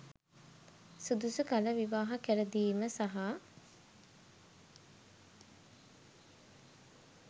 සුදුසු කල විවාහ කරදීම සහ